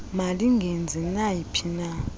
malingenzi nayi phina